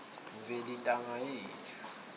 mveli ntanga yethu